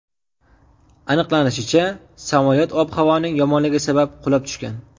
Aniqlanishicha, samolyot ob-havoning yomonligi sabab qulab tushgan.